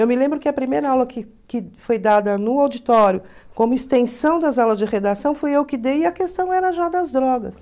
Eu me lembro que a primeira aula que que foi dada no auditório, como extensão das aulas de redação, fui eu que dei e a questão era já das drogas.